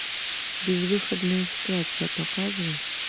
безвыходная ситуация показывай